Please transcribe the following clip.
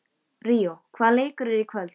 Ríó, hvaða leikir eru í kvöld?